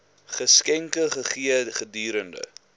geskenke gegee gedurende